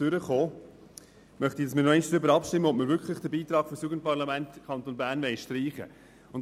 Ich möchte noch einmal darüber abstimmen, ob wir wirklich den Beitrag für das Jugendparlament im Kanton Bern streichen wollen.